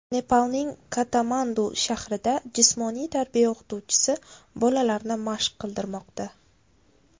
Nepalning Katmandu shahrida jismoniy tarbiya o‘qituvchisi bolalarni mashq qildirmoqda.